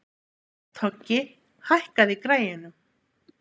Toggi, hækkaðu í græjunum.